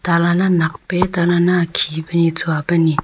talana nakpe talan na khipe ni chuape ni--